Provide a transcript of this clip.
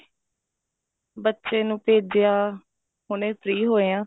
ਬੱਚੇ ਨੂੰ ਭੇਜਿਆ ਹੁਣੇ free ਹੋਏ ਹਾਂ